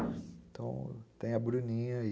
Então, tem a Bruninha e